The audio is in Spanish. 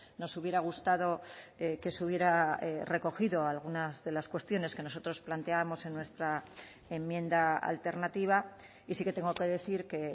nos hubiera gustado que se hubiera recogido algunas de las cuestiones que nosotros planteábamos en nuestra enmienda alternativa y sí que tengo que decir que